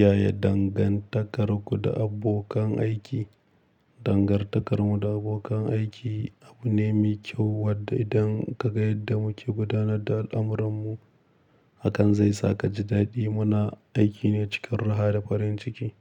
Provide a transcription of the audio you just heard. Yaya dangantakarku da abokan aiki? Dangantakarmu da abokan aiki abu ne mai kyau, wadda idan ka ga yadda muke gudanar da al'amuranmu, hakan zai saka ji daɗi. Muna aiki ne cikin raha da farin ciki.